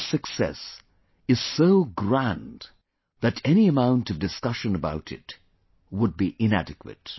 This success is so grand that any amount of discussion about it would be inadequate